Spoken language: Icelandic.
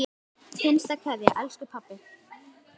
HINSTA KVEÐJA Elsku pabbi.